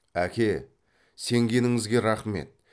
әке сенгеніңізге рақмет